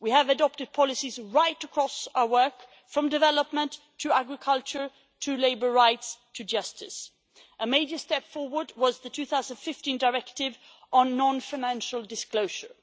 We have adopted policies right across our work, from development to agriculture, to labour rights, to justice. A major step forward was the 2015 Directive on non financial disclosure.